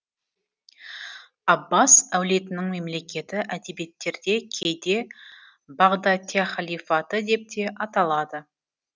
аббас әулетінің мемлекеті әдебиеттерде кейде бағдатяхалифаты деп те аталады